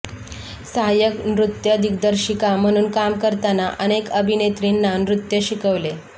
सहाय्यक नृत्य दिग्दर्शिका म्हणून काम करताना अनेक अभिनेत्रींना नृत्य शिकवले